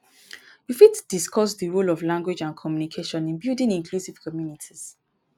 you fit discuss di role of language and communication in building inclusive communities.